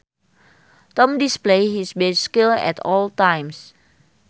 Tom displays his best skills at all times